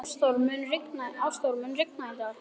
Ástþór, mun rigna í dag?